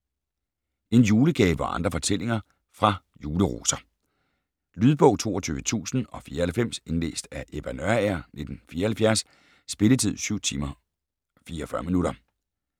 En julegave og andre fortællinger fra Juleroser Lydbog 22094 Indlæst af Ebba Nørager, 1974. Spilletid: 7 timer, 44 minutter.